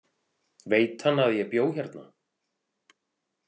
Veit hann að ég bjó hérna?